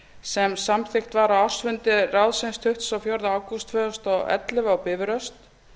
sem samþykkt var á ársfundi ráðsins tuttugasta og fjórða ágúst tvö þúsund og ellefu á bifröst